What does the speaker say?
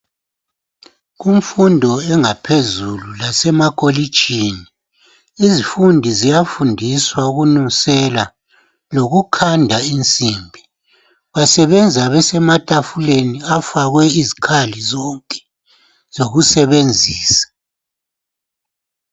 Kumfundo engaphezulu lasemakolitshini, izifundi ziyafundiswa ukunusela lokukhanda insimbi. Basebenza besematafuleni afakwe izikhali zonke zokusebenzisa.